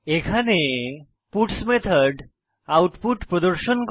এখানে puts method output প্রদর্শন করে